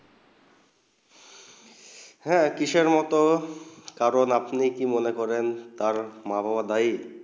হেঁ কিশোর মনে কারণ আপনি কি মনে করেন তার মা বাবা দায়ী